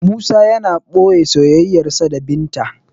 Musa yana boye soyayyarsa da binta